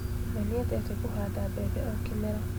We nĩendete kũhanda mbembe o kĩmera